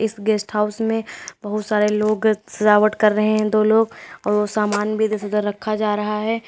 इस guest house में बहुत सारे लोग सजावट कर रहे हैं दो लोग और वो सामान भी इधर से उधर रखा जा रहा है।